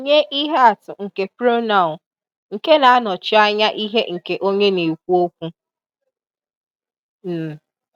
Nye ihe atụ nke pronoun nke na-anọchi anya ihe nke onye na-ekwu okwu.\n